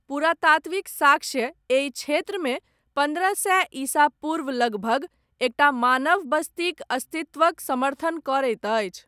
पुरातात्त्विक साक्ष्य, एहि क्षेत्रमे, पन्द्रह सए ईसा पूर्व लगभग, एकटा मानव बस्तीक अस्तित्वक, समर्थन करैत अछि।